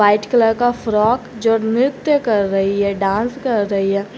White colour का frock जो नृत्य कर रही है डांस कर रही है।